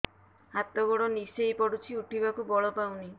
ହାତ ଗୋଡ ନିସେଇ ପଡୁଛି ଉଠିବାକୁ ବଳ ପାଉନି